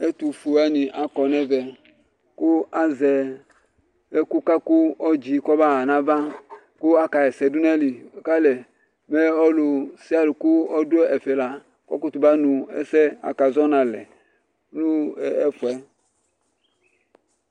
Ɛtʋfue wanɩ akɔ n'ɛmɛ :kʋ azɛ ɛkʋka k'ɔdzɩ kɔmaɣa n'ava , kʋ akaɣa ɛsɛ dʋ n'ayili ;mɛ kʋ ɔlʋ nʋ ɔlʋ kʋ ɔdʋ ɛfɛ la, kɔkʋtʋ ba nʋ ɛsɛɛ akazɔ n'alɛ nʋ ɛfɛ